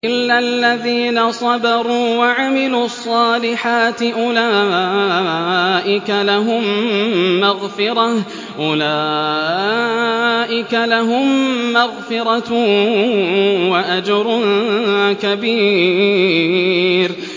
إِلَّا الَّذِينَ صَبَرُوا وَعَمِلُوا الصَّالِحَاتِ أُولَٰئِكَ لَهُم مَّغْفِرَةٌ وَأَجْرٌ كَبِيرٌ